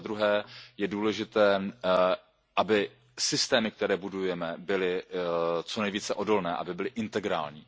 A za druhé je důležité, aby systémy, které budujeme, byly co nejvíce odolné, aby byly integrální.